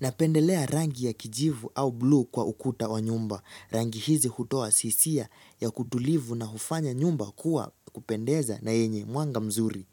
Napendelea rangi ya kijivu au blue kwa ukuta wa nyumba. Rangi hizi hutoa sisia ya kutulivu na hufanya nyumba kuwa kupendeza na yenye mwanga mzuri.